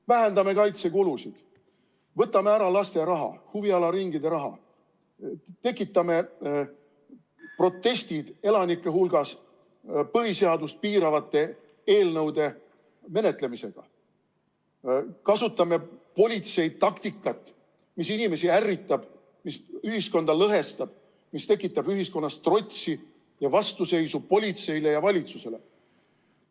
Vähendame kaitsekulusid, võtame ära laste huvialaringide raha, tekitame protestid elanike hulgas põhiseadust piiravate eelnõude menetlemisega, kasutame politsei taktikat, mis inimesi ärritab, mis ühiskonda lõhestab, mis tekitab ühiskonnas trotsi ja vastuseisu politseile ja valitsusele.